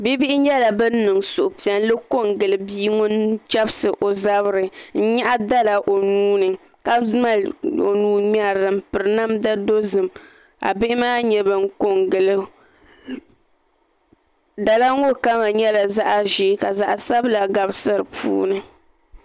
Bia bihi nyɛla ban niŋ suhupiɛlli ko n gili bia ŋun chɛbisi o zabiri n nyaɣa dala o nuuni ka mali o nuu ŋmɛrili n piri namdi dozim ka bihi maa nyɛ bin ko n gilo dala ŋo kama nyɛla zaɣ ʒiɛ ka zaɣ sabila gabisi di puuni